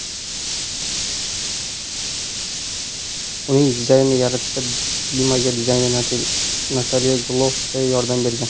Uning dizaynini yaratishda Dimaga dizayner Natalya Gluxovskaya yordam bergan.